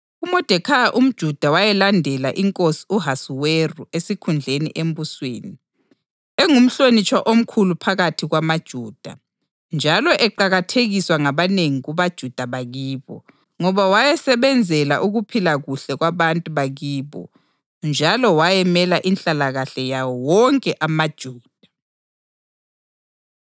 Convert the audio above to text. UModekhayi umJuda wayelandela inkosi u-Ahasuweru esikhundleni embusweni, engumhlonitshwa omkhulu phakathi kwamaJuda, njalo eqakathekiswa ngabanengi kubaJuda bakibo, ngoba wayesebenzela ukuphila kuhle kwabantu bakibo njalo wayemela inhlalakahle yawo wonke amaJuda.